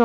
jobs